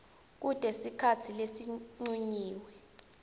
kute sikhatsi lesincunyiwe